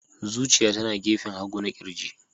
Zuciya tana gefen hagu na ƙirji.